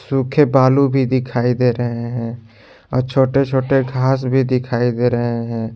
सूखे बालू भी दिखाई दे रहे हैं आओ छोटे छोटे घास भी दिखाई दे रहे हैं।